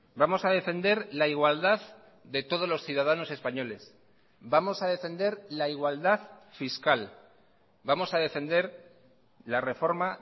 vamos a defender la igualdad de todos los ciudadanos españoles vamos a defender la igualdad fiscal vamos a defender la reforma